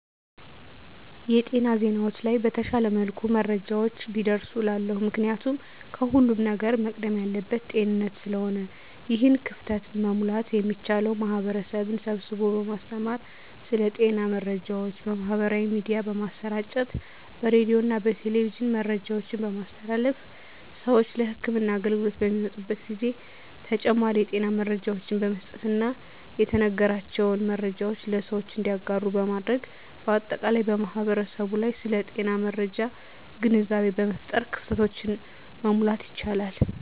የጤና ዜናዎች ላይ በተሻለ መልኩ መረጃዎች ቢደርሱ እላለሁ። ምክንያቱም ከሁለም ነገር መቅደም ያለበት ጤንነት ስለሆነ ነው። ይህን ክፍተት መሙላት የሚቻለው ማህበረሰብን ስብስቦ በማስተማር ስለ ጤና መረጃዎች በማህበራዊ ሚዲያ በማሰራጨት በሬዲዮና በቴሌቪዥን መረጃዎችን በማስተላለፍ ስዎች ለህክምና አገልግሎት በሚመጡበት ጊዜ ተጨማሪ የጤና መረጃዎችን በመስጠትና የተነገራቸውን መረጃዎች ለሰዎች እንዲያጋሩ በማድረግ በአጠቃላይ በማህበረሰቡ ላይ ስለ ጤና መረጃ ግንዛቤ በመፍጠር ክፍተቶችን መሙላት ይቻላል።